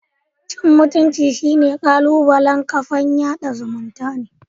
Cin mutumcin shine kalubalen kafan yada zumuntane.